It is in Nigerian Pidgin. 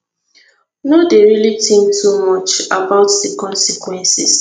no dey really think too much about di consequences